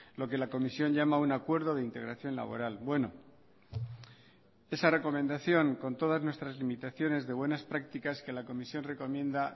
lo que la comisión llama un acuerdo de integración laboral bueno esa recomendación con todas nuestras limitaciones de buenas prácticas que la comisión recomienda